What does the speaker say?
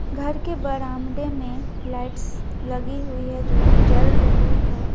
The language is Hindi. घर के बरामदे में लाइट्स लगी हुई है जोकि जल रही है।